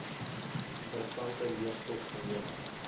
interessante leestof gelewer